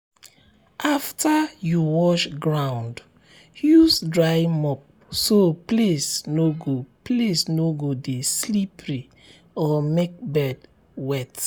after you wash ground use dry mop so place no go place no go dey slippery or make bed wet.